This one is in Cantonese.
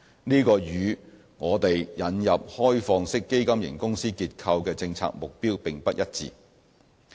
這與我們引入開放式基金型公司結構的政策目標並不一致。